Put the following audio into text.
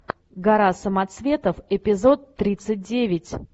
гора самоцветов эпизод тридцать девять